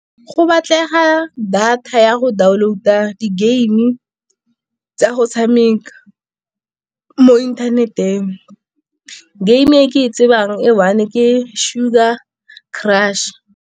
Go batlega data ya go download-a di-game tsa go tshameka mo internet-eng. Game e ke e tsebang e one ke Sugar Crush.